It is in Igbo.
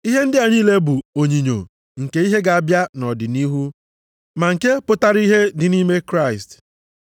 Ihe ndị a niile bụ onyinyo nke ihe ga-abịa nʼọdịnihu ma nke pụtara ihe dị nʼime Kraịst.